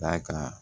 D'a kan